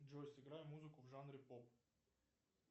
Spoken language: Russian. джой сыграй музыку в жанре поп